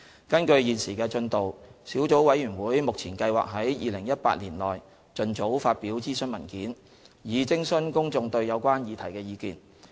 根據現時的進度，小組委員會目前計劃在2018年內盡早發表諮詢文件，以徵詢公眾對有關議題的意見。